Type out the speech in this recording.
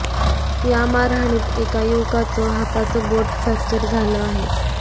या मारहाणीत एका युवकाचं हाताचं बोट फॅक्चर झालं आहे